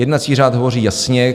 Jednací řád hovoří jasně.